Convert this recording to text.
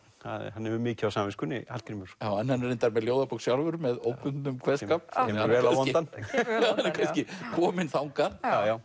hann hefur mikið á samviskunni Hallgrímur hann er reyndar með ljóðabók sjálfur með óbundnum kveðskap kemur vel á vondan hann er kannski kominn þangað